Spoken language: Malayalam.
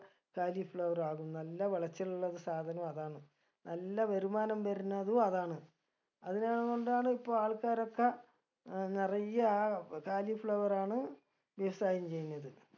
കാലി flower ആകും നല്ല വെളച്ചിലുള്ള ഒരു സാധനും അതാണ് നല്ല വരുമാനം വരണതും അതാണ് അതിനൻകൊണ്ടാണ് ഇപ്പൊ ആൾക്കാരൊക്കെ ഏർ നെറയെ ആ കാലി flower ആണ് design ചെയ്ന്നത്